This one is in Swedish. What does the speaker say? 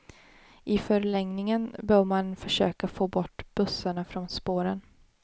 I förlängningen bör man försöka få bort bussarna från spåren.